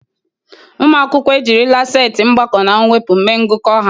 Ụmụ akwụkwọ ejirila setị mgbakọ na mwepụ mee ngụkọ ha.